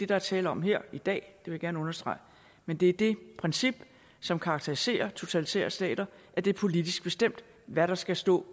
der er tale om her i dag det vil jeg gerne understrege men det er det princip som karakteriserer totalitære stater at det er politisk bestemt hvad der skal stå